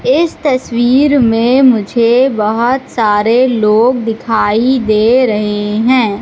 इस तस्वीर मे मुझे बहोत सारे लोग दिखाई दे रहे है।